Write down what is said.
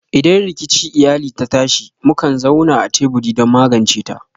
Idan rikici iyali ta tashi, mukan zauna a teburi don magance ta.